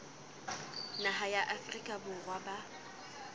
naha ya afrika borwa ba